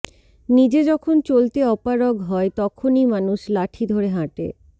নিজে যখন চলতে অপারগ হয় তখনই মানুষ লাঠি ধরে হাঁটে